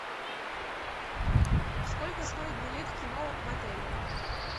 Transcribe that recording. сколько стоит билет в кино в отеле